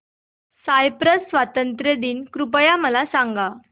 Cyprus स्वातंत्र्य दिन कृपया मला सांगा